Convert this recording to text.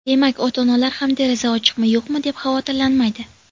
Demak, ota-onalar ham deraza ochiqmi-yo‘qmi deb xavotirlanmaydi.